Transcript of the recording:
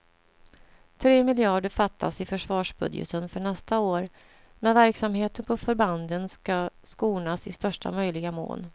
Tre miljarder fattas i försvarsbudgeten för nästa år, men verksamheten på förbanden ska skonas i största möjliga mån.